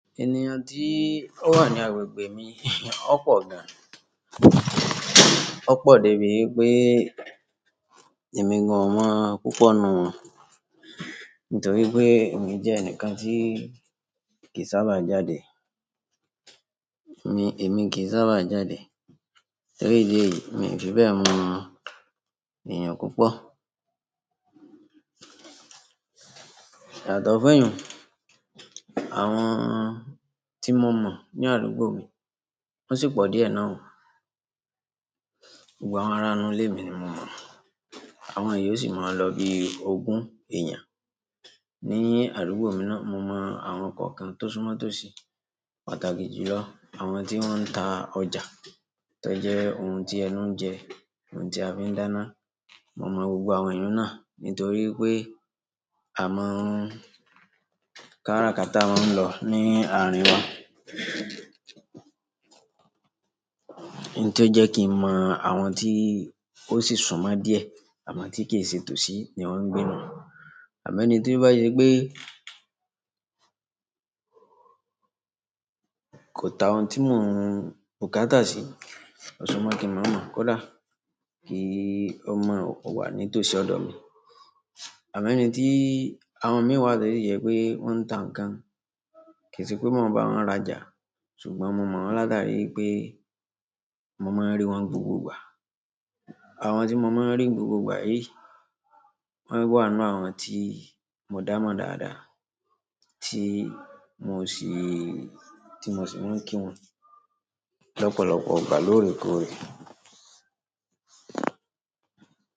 Ènìyàn dí ó ran yóò wo gbè mi o po gan. Ó pọ̀ débi wi pé èmi gan o mo púpọ̀ nù won nítorí pé èmi jẹ́ ẹnìkan tí kì í sábà jáde. Èmi, èmi kì í sábà jáde. Torí ìdí èyí, mi ò fi bẹ́ẹ̀ mọ̀ èéyàn púpọ̀. Yàtọ̀ fẹ́yìn, àwọn tí mo mọ̀ ní àdúgbò mi, wọ́n sì pọ̀ díẹ̀ náà. Gbogbo àwọn ará inú ilé mi ni mo mọ̀. Àwọn èyí ó sì máa ń lọ ibi ogún ẹ̀yàn. Ní àdúgbò mi náà, mo mọ̀ àwọn kọ̀ọ̀kan tó súmọ́ tó sì pàtàkì jù lọ. Àwọn tí wọ́n ń ta ọjà tó jẹ́ ohun tí ẹnu ń jẹ, ohun tí a fi ń dáná. Mo mọ̀ gbogbo àwọn èyí náà nítorí pé a máa ń-- kárakáta a máa ń lọ ní àárín wọn. N tó jẹ́ kí n mọ̀ àwọn tí ó sì súnmọ́ díẹ̀ amo tí kì í se tòsí ni wọ́n ń gbé náà. Àmọ́ ẹni tí ó bá ṣe pé kò ta ohun tí mò ń bu kátà sí, ọ̀ṣu máa kí n mọ̀ mọ́ kó dà. Kí ó máa wà ní tòsí ọ̀dọ̀ mi. Àmọ́ ẹni tí àwọn mìí wa tó si jẹ pé wọ́n ń ta ǹkan, kì í sì pé mo máa bá wọn rajà, ṣùgbọ́n mo mọ̀ wọ́n látàrí wipé mo máa ń rí wọ́n gbogbo ìgbà. Àwọn tí mo máa ń rí gbogbo ìgbà yìí, wọ́n wà nínú àwọn tí mo dá mọ̀ dáadáa, tí mo sì, tí mo sì máa ń kí wọn lọ́pọ̀lọpọ̀ igbá lóòrèkóòrè.